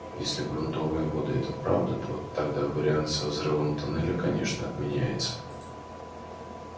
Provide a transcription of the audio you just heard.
если грунтовые воды это правда то тогда вариант со взрывом туннеля конечно отменяется